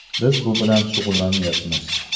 Biz bu bilan shug‘ullanmaymiz.